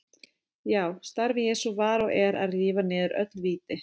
Já, starf Jesú var og er að rífa niður öll víti.